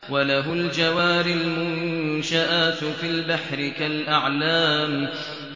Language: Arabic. وَلَهُ الْجَوَارِ الْمُنشَآتُ فِي الْبَحْرِ كَالْأَعْلَامِ